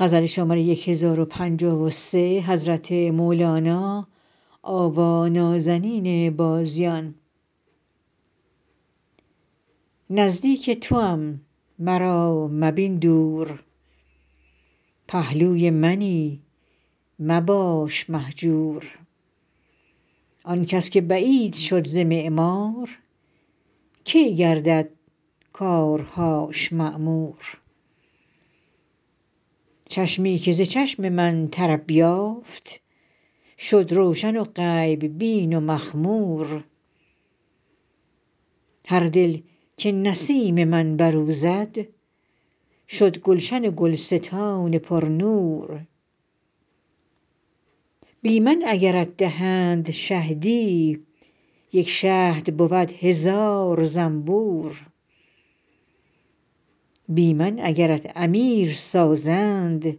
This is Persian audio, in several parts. نزدیک توام مرا مبین دور پهلوی منی مباش مهجور آن کس که بعید شد ز معمار کی گردد کارهاش معمور چشمی که ز چشم من طرب یافت شد روشن و غیب بین و مخمور هر دل که نسیم من بر او زد شد گلشن و گلستان پرنور بی من اگرت دهند شهدی یک شهد بود هزار زنبور بی من اگرت امیر سازند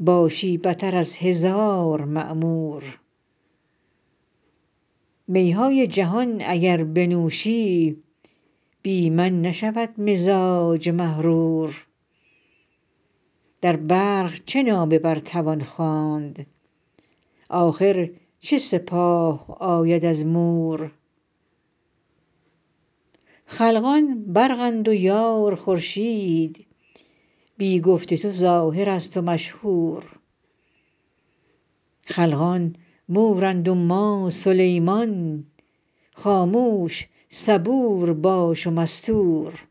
باشی بتر از هزار مأمور می های جهان اگر بنوشی بی من نشود مزاج محرور در برق چه نامه بر توان خواند آخر چه سپاه آید از مور خلقان برقند و یار خورشید بی گفت تو ظاهرست و مشهور خلقان مورند و ما سلیمان خاموش صبور باش و مستور